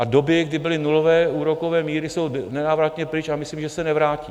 A doby, kdy byly nulové úrokové míry, jsou nenávratně pryč a myslím, že se nevrátí.